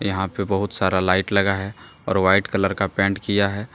यहां पे बहुत सारा लाइट लगा है और व्हाइट कलर का पेंट किया है।